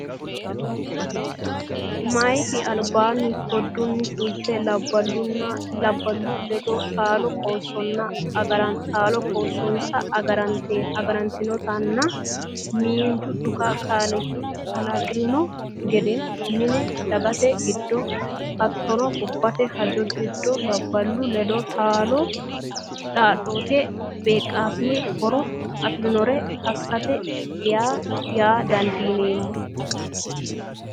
meyaati albi kadonni fulte labballunni ledo taalo qoossonsa agaranteenna miinju dhuka kalaqi’ranno gedenna mine, dagate giddo hattono gobbate hajo giddo labballu ledo taalo dhaad- dote beeqqaasinenna horo afi’rannore assate yaa dandiineemmo.